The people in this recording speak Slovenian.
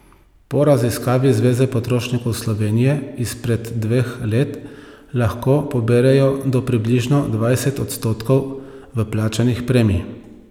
Po raziskavi Zveze potrošnikov Slovenije izpred dveh let lahko poberejo do približno dvajset odstotkov vplačanih premij.